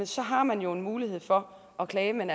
så har man jo en mulighed for at klage men